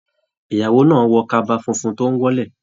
Ìyàwó náà wọ kaba fúnfún tó n wọ́lẹ̀.